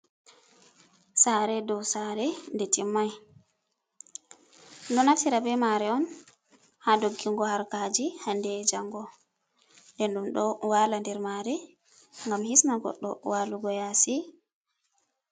Sare dow sare nde timmai. Ɗonaftira be mare on ha doggingo harkaji hande be jango. Nden ɗum ɗo wala nder mare ngam hisna goɗɗo walugo yasi.